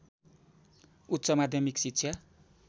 उच्च माध्यमिक शिक्षा